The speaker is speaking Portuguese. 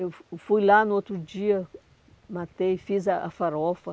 Eu fui lá no outro dia, matei, fiz a a farofa.